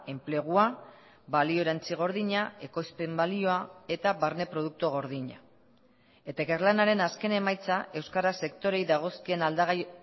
enplegua balio erantsi gordina ekoizpen balioa eta barne produktu gordina eta ikerlanaren azken emaitza euskara sektoreei dagozkien aldagai